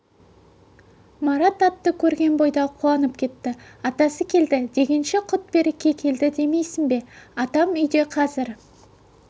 марат атты көрген бойда қуанып кетті атасы келді дегенше құт-береке келді демейсің бе атам үйде қазір